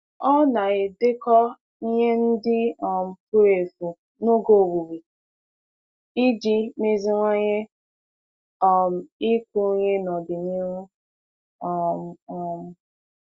Ọ na-edekọ ihe ndị um furu efu n'oge owuwe iji meziwanye um ịkụ ihe n'ọdịnihu. um um